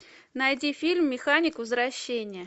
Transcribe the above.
найди фильм механик возвращение